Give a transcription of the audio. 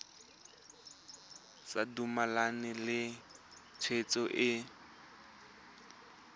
sa dumalane le tshwetso e